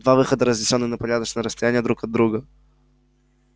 два выхода разнесённые на порядочное расстояние друг от друга